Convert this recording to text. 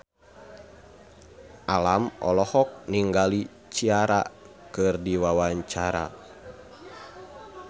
Alam olohok ningali Ciara keur diwawancara